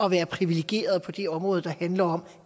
at være privilegeret på det område der handler om